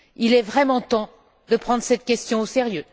Il est vraiment temps de prendre cette question au sérieux.